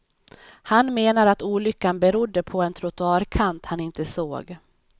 Han menar att olyckan berodde på en trottoarkant han inte såg.